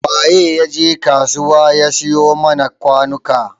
Wa ya je kasuwar ya siyo mana kwanuka?